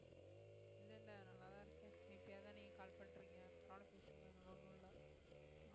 இல்ல இல்ல நல்லாதான் இருக்கேன் எப்பயாதான் நீங்க call பண்றீங்க பரவாயில்லை பேசுங்க ஒண்ணும் இல்லை